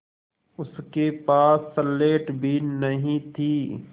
उसके पास स्लेट भी नहीं थी